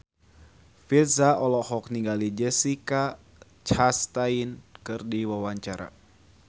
Virzha olohok ningali Jessica Chastain keur diwawancara